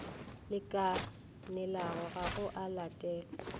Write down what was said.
lekanelago ga go a latelwa